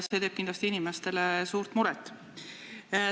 See teeb kindlasti inimestele suurt muret.